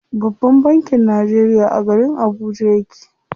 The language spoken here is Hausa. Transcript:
Babban bankin Najeriya a garin Abuja yake.